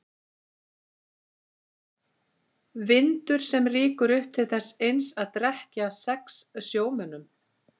Vindur sem rýkur upp til þess eins að drekkja sex sjómönnum.